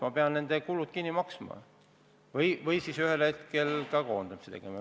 Ma pean nende kulud kinni maksma või siis ühel hetkel koondamise tegema.